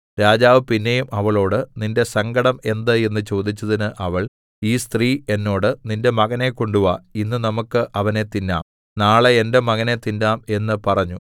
രാജാവ് പിന്നെയും അവളോട് നിന്റെ സങ്കടം എന്ത് എന്ന് ചോദിച്ചതിന് അവൾ ഈ സ്ത്രീ എന്നോട് നിന്റെ മകനെ കൊണ്ടുവാ ഇന്ന് നമുക്ക് അവനെ തിന്നാം നാളെ എന്റെ മകനെ തിന്നാം എന്ന് പറഞ്ഞു